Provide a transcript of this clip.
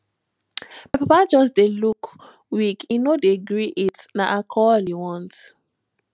my papa just dey look weak he no dey gree eat and na alcohol he want